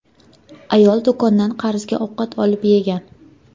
Ayol do‘kondan qarzga ovqat olib yegan.